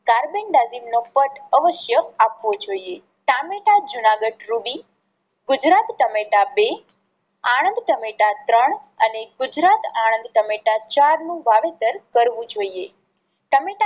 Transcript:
carbendazim નો cut અવશ્ય આપવો જોઈએ. ટામેટા જુનાગઢ રૂબી, ગુજરાત ટમેટા બે, આણંદ ટમેટા ત્રણ અને ગુજરાત આણંદ ટમેટા ચાર નું વાવેતર કરવું જોઈએ. ટામેટા